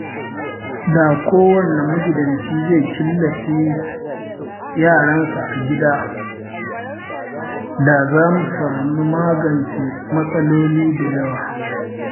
Da kowane magidanci zai killace yaransa a gida, da za mu magance matsaloli da yawa.